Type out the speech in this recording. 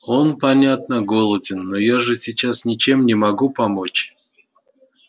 он понятно голоден но я же сейчас ничем не могу помочь